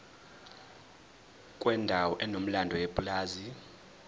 kwendawo enomlando yepulazi